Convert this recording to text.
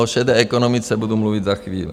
O šedé ekonomice budu mluvit za chvíli.